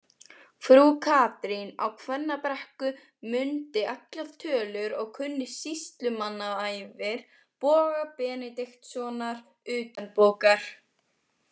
Frú Katrín á Kvennabrekku mundi allar tölur og kunni sýslumannaævir Boga Benediktssonar utanbókar.